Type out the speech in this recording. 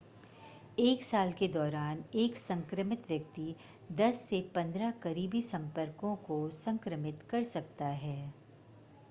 एक साल के दौरान एक संक्रमित व्यक्ति 10 से 15 करीबी संपर्कों को संक्रमित कर सकता है